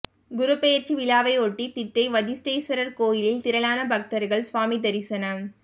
குரு பெயர்ச்சி விழாவையொட்டி திட்டை வசிஷ்டேஸ்வரர் கோயிலில் திரளான பக்தர்கள் சுவாமி தரிசனம்